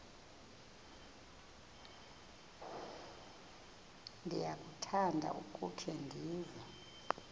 ndiyakuthanda ukukhe ndive